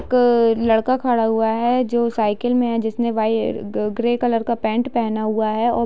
एक लड़का खड़ा हुआ है जो साइकिल में है जिसने वाई ग्रे कलर का पैंट पहना हुआ है और --